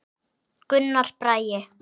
Gunnar Bragi.